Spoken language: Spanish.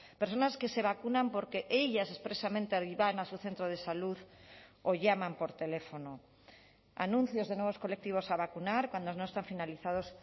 personas que se vacunan porque ellas expresamente iban a su centro de salud o llaman por teléfono anuncios de nuevos colectivos a vacunar cuando no están finalizados